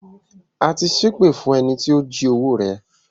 A ti ṣẹ èpè fún ẹni tí ó jí owó rẹ